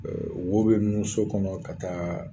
Eee wo be nun so kɔnɔ ka taa